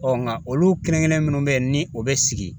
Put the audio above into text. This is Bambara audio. nka olu kelen kelen minnu bɛ yen ni o bɛ sigi